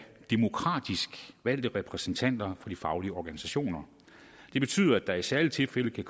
demokratisk valgte repræsentanter for de faglige organisationer det betyder at der i særlige tilfælde